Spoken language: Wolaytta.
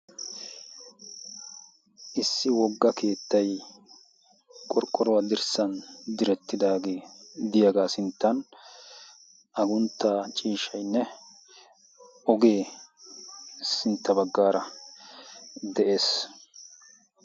issi wogga keettay qorqqoruwaa dirssan direttidaagee diyaagaa sinttan agunttaa ciishshaynne ogee sintta baggaara de'ees